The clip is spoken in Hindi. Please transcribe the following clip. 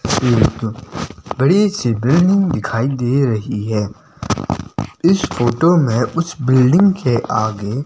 एक बड़ी सी बिल्डिंग दिखाई दे रही है इस फोटो में उस बिल्डिंग के आगे--